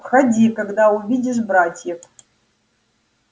выходи когда увидишь братьев